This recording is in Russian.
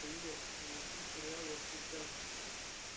привет найти сериал во все тяжкие